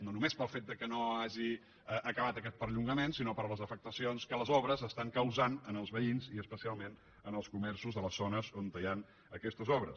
no només pel fet que no hagi acabat aquesta prolongació sinó per les afectacions que les obres estan causant en els veïns i especialment en els comerços de les zones on hi han aquestes obres